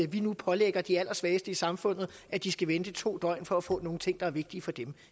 vi nu pålægger de allersvageste i samfundet at de skal vente i to døgn for at få nogle ting der er vigtige for dem